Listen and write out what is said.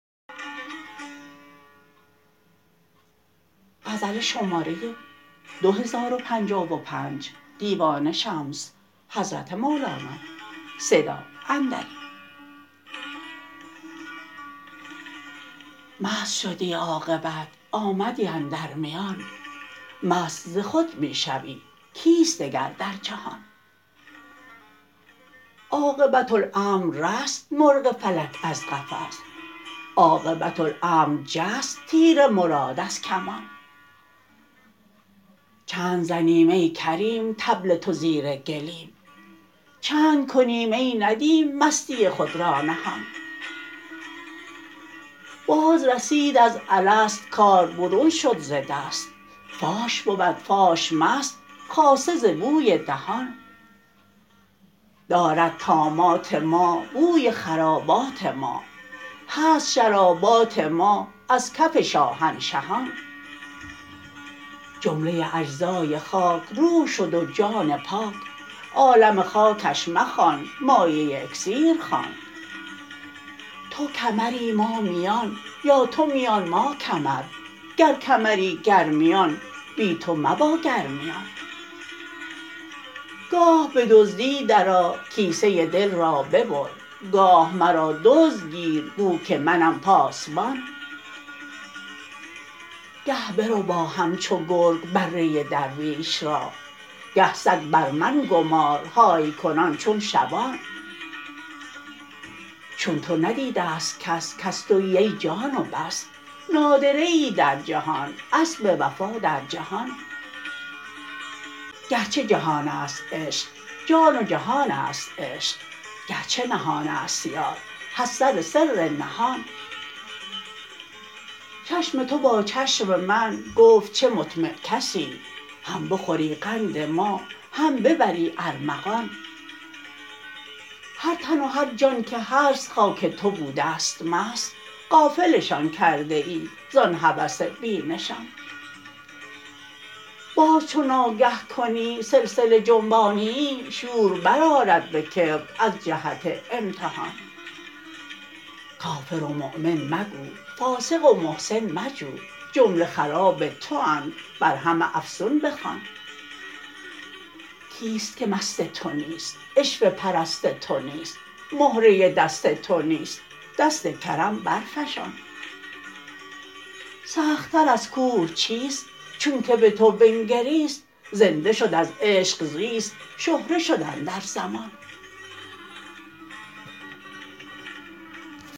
مست شدی عاقبت آمدی اندر میان مست ز خود می شوی کیست دگر در جهان عاقبت امر رست مرغ فلک از قفس عاقبت امر جست تیر مراد از کمان چند زنیم ای کریم طبل تو زیر گلیم چند کنیم ای ندیم مستی خود را نهان بازرسید از الست کار برون شد ز دست فاش بود فاش مست خاصه ز بوی دهان دارد طامات ما بوی خرابات ما هست شرابات ما از کف شاهنشهان جمله اجزای خاک روح شد و جان پاک عالم خاکش مخوان مایه اکسیر خوان تو کمری ما میان یا تو میان ما کمر گر کمری گر میان بی تو مبا گر میان گاه به دزدی درآ کیسه دل را ببر گاه مرا دزد گیر گو که منم پاسبان گه بربا همچون گرگ بره درویش را گه سگ بر من گمار های کنان چون شبان چون تو ندیده ست کس کس توی ای جان و بس نادره ای در جهان اسب وفا درجهان گرچه جهان است عشق جان و جهان است عشق گرچه نهان است یار هست سر سر نهان چشم تو با چشم من گفت چه مطمع کسی هم بخوری قند ما هم ببری ارمغان هر تن و هر جان که هست خاک تو بوده ست مست غافلشان کرده ای زان هوس بی نشان باز چو ناگه کنی سلسله جنبانیی شور برآرد به کبر از جهت امتحان کافر و مؤمن مگو فاسق و محسن مجو جمله خراب تواند بر همه افسون بخوان کیست که مست تو نیست عشوه پرست تو نیست مهره دست تو نیست دست کرم برفشان سختتر از کوه چیست چونک به تو بنگریست زنده شد از عشق زیست شهره شد اندر زمان